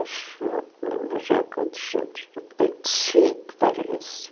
Acho, não me lembro já quantos anos, vinte e cinco, parece.